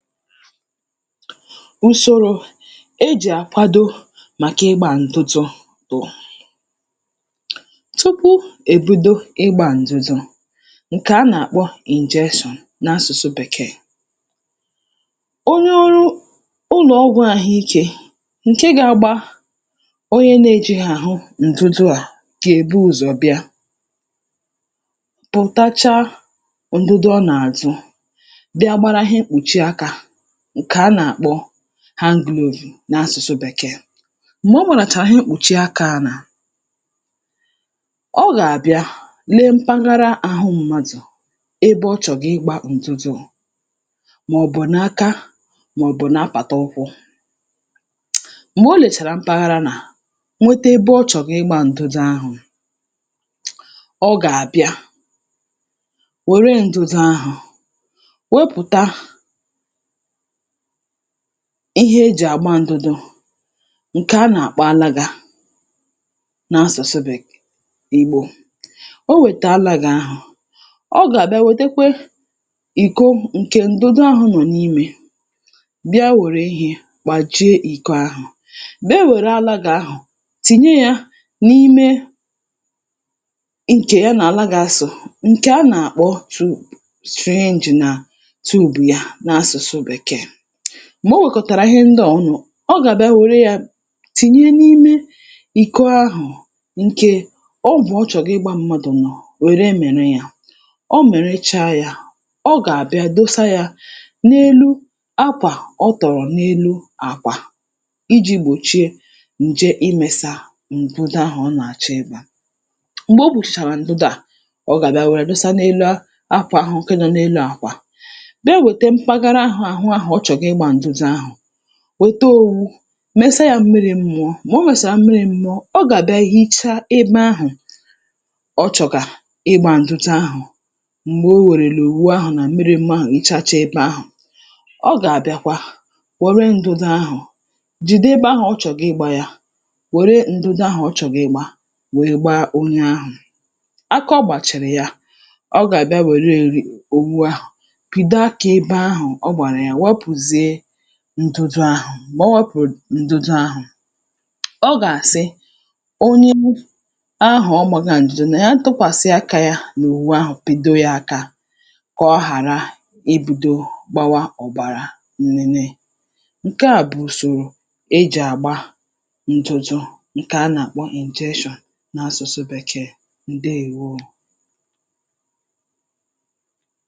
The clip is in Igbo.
Ùsòrò ejì àkwado màkà ịgbā ǹtụtụ bụ̀ tụpụ èbido ịgbā ǹdụdụ ǹkè a nàkpọ injection n’asụ̀sụ bèkee. Onye ọrụ ụlọ̀ ọgwụ̄ àhụikē ǹke gāgbā onye nējighì àhụ ǹdụdụ à gèbu ụzọ̀ bịa pụ̀tachaa ǹdụdụ ọ nàdụ bịa gbara ihe mkpùchi akā ǹkè a nàkpọ hand glove n’asụ̀sụ bekee. M̀gbe ọ gbàràchàrà ihe mkpùchi akā ahụ̀ ọ gàbịa lee mpaghara àhụ mmadụ̀ ebe ọ chọ̀gà ịgbā ǹdụdụ mọ̀bụ̀ aka mọ̀bụ̀ n’apàtụkwụ̄. M̀gbe o lèchàrà mpaghara mà nweta ebe ọ chọ̀gị̀ ịgbā ǹdụdụ ahụ̀, ọ gàbịa wère ǹdụdụ ahụ̀ wepùta ihe ejì àgba ǹdụdụ ǹkè a nàkpọ anaga n’asùsu bèke ìgbò. O wète alagā ahụ̀ ọ gàbịa nwètekwe ìko ǹkè ǹdụdụ ahụ̄ nọ̀ n’imē bịa wère ihē gbàjie ìko ahụ̀, bịa wère alagā ahụ̀ tìnye yā n’ime ǹkè ya nà alagā sò ǹkè a nàkpọ syringe nà tube ya n’asụ̀sụ bèkee. M̀gbe o wèkọ̀tàrà ihe nda à ọnụ̄, ọ gàbịa wère yā tìnye n’ime ìko ahụ̀ ǹkè ọgwụ̀ ọ chọ̀gị̀ ịgbā m̀madụ̀ wère mị̀rị yā, ọ mị̀rịcha yā ọ gàbịa dosaa yā n’elu akwà ọ tọ̀rọ̀ n’elu àkwà ijī gbòchie ǹje imēsā ǹdụdụ ahụ̀ ọ nàchọ ịgbā. M̀gbè o kpùchìchàrà ǹdụdụ à, ọ gàbịa wère dosa n’elu akwà ahụ̀ ǹke nọ n’elu àkwà bịa wèta mpaghara àhụ ahụ̀ ọ chọ̀gà ịgbā ǹdụdụ ahụ̀, wòto owu mesa yā mmirī mụọ, m̀gbè o mèsàrà mmiri mụọ ọ gàbịa hịchaa ebē ahụ̀ ọ chọ̀gà ịgbā ǹdụdụ ahụ̀ m̀gbè o wèrèlà òwu ahụ̀ nà mmiri mụọ ahụ̀ wụchacha ebāhụ̀, ọ gàbịakwa wère ǹdụdụ ahụ̀ jìde ebe ahụ̀ ọ chọ̀gà ịgbā yā wère ǹdụdụ ahụ̀ ọ chọ̀gà ịgbā wèe gba onye ahụ̀ aka ọ gbàchàrà ya ọ gàbịa wère òwu ahụ̀ pị̀do akā ebe ahụ̀ ọ gbàrà ya wepùzie ǹdụdụ ahụ̀, m̀gbè o wēpùrù ǹdụdụ ahụ̀ ọ gàsi onye ahụ̀ ọ gbāgā ǹdụ nà ya tụkwàsị akā yā n’òwu ahụ̀ pị̀do yā aka kà ọ hàra ibīdo gbawa ọ̀bàrà nnene. Ǹke à bụ̀ ùsòrò ejì àgba ǹdụdụ ǹkè a nàkpọ injection n’asụ̀sụ bèkee. Ǹdeèwo.